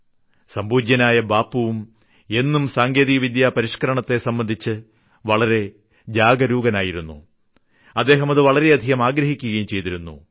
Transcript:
സംപൂജ്യനായ ബാപ്പുവും എന്നും സാങ്കേതികവിദ്യാ പരിഷ്ക്കരണത്തെ സംബന്ധിച്ച് വളരെ ജാഗരൂകനായിരുന്നു അദ്ദേഹം അത് വളരെയധികം ആഗ്രഹിക്കുകയും ചെയ്തിരുന്നു